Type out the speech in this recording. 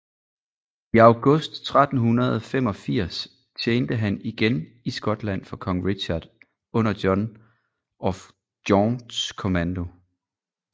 I august 1385 tjente han igen i Skotland for kong Richard under John of Gaunts kommando